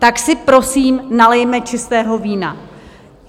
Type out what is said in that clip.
Tak si prosím nalijme čistého vína.